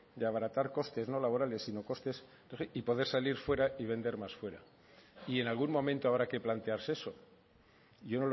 de abaratar costes no laborales sino costes y poder salir fuera y vender más fuera y en algún momento habrá que plantearse eso yo